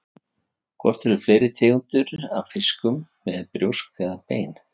Hvort eru fleiri tegundir af fiskum með brjósk eða bein?